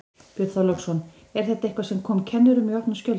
Björn Þorláksson: Er þetta eitthvað sem kom kennurum í opna skjöldu?